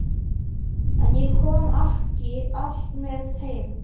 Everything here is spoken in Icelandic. En ég kom ekki alltaf með heim.